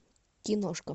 киношка